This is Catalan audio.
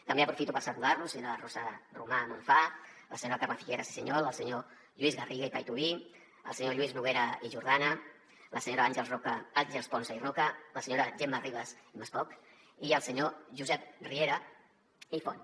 també aprofito per saludar los la senyora rosa romà monfà la senyora carme figueras i suñol el senyor lluís garriga i paituví el senyor lluís noguera i jordana la senyora àngels ponsa i roca la senyora gemma ribas i maspoch i el senyor josep riera i font